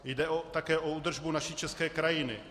Jde také o údržbu naší české krajiny.